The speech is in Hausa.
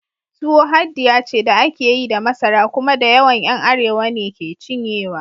Tuwo haddiya ce da ake yi da masara, kuma dayawan ’yan Arewa ne ke cinyewa.